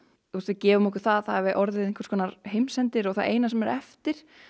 við gefum okkur að það hafi orðið einhvers konar heimsendir og það eina sem er eftir